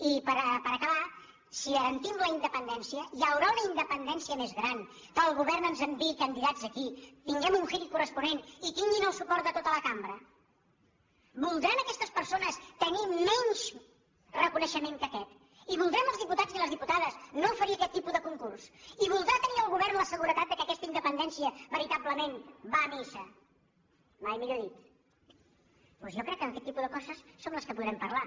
i per acabar si garantim la independència hi haurà una independència més gran que el govern ens enviï candi·dats aquí tinguem un hearing corresponent i tinguin el suport de tota la cambra voldran aquestes persones te·nir menys reconeixement que aquest i voldrem els di·putats i les diputades no oferir aquest tipus de concurs i voldrà tenir el govern la seguretat que aquesta inde·pendència veritablement va a missa mai millor dit doncs jo crec que aquest tipus de coses són les que po·drem parlar